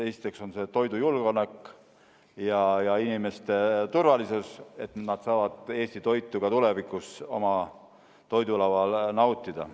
Esiteks on see toidujulgeolek ja inimeste turvalisus, et nad saavad Eesti toitu ka tulevikus oma toidulaual nautida.